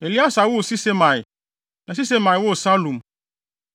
Eleasa woo Sisemai na Sisemai woo Salum.